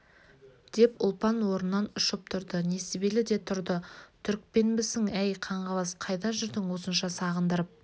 деп ұлпан орнынан ұшып тұрды несібелі де тұрды түрікпенбісің әй қаңғыбас қайда жүрдің осынша сағындырып